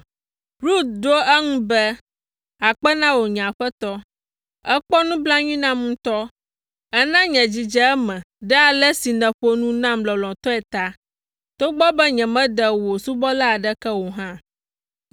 Rut ɖo eŋu be, “Akpe na wò, nye aƒetɔ. Èkpɔ nublanui nam ŋutɔ, èna nye dzi dze eme ɖe ale si nèƒo nu nam lɔlɔ̃tɔe ta, togbɔ be nyemede wò subɔla aɖeke nu o hã.”